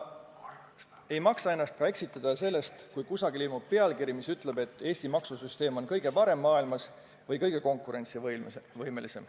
Ei maksa ennast eksitada sellest, kui kusagil ilmub pealkiri, mis ütleb, et Eesti maksusüsteem on kõige parem või kõige konkurentsivõimelisem maailmas.